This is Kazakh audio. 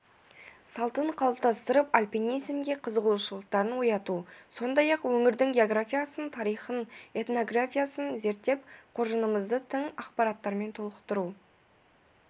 салтын қалыптастырып альпинизмге қызығушылықтарын ояту сондай-ақ өңірдің географиясын тарихын этнографиясын зерттеп қоржынымызды тың ақпараттармен толықтыру